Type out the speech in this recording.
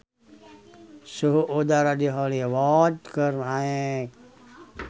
Suhu udara di Hollywood keur naek